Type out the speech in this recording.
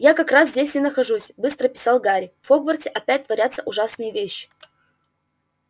я как раз здесь и нахожусь быстро писал гарри в хогвартсе опять творятся ужасные вещи